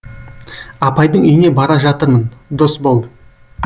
апайдың үйіне бара жатырмын досбол